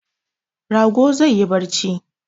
Rago zai yi barci